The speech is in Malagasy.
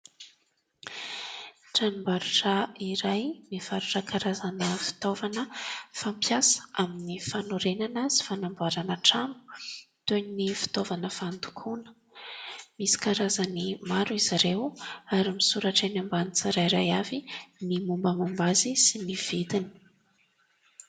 Tranom-barotra iray mivarotra karazana fitaovana fampiasa amin'ny fanorenana sy fanamboarana trano toy ny fitaovana fandokoana, misy karazany maro izy ireo ary misoratra eny ambany tsirairay avy ny mombamomba azy sy ny vidiny.